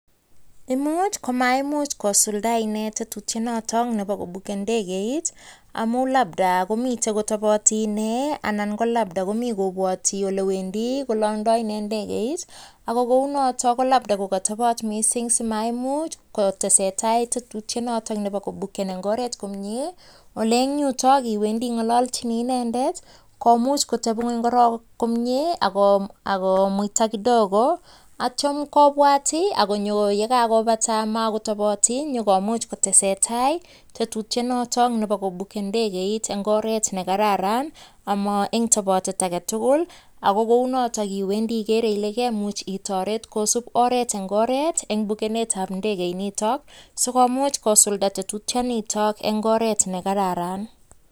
Imuch komaimuch kosuldae inee tetutiet noto nebo kobuken indegeit amun labda komitei kotabati inee anan ko labda kobwati ole wendi kolangdai inee ndegeit ako kounoto ko labda kokatobot mising simaimuch kotesetai tetutiet noto nebo kobuken eng oret komnye, eng ole yutok iwendi ingalalchini inendet komuch kotepi ingweny korook komnye ako muita kidogo atyo kobwaat ako konyo ye kakobata makotoboti nyokomuch kotesetai tetutiet noto nebo kobuken ndegeit eng oret ne kararan ama eng tabotet age tugul ako kounoto iwendi igeere ile kemuch itoret kosuup oret eng bukenetab ndegeit nitok sikomuch kosulda tetutienito eng oret ne kararan.